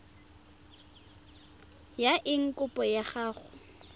ya eng kopo ya gago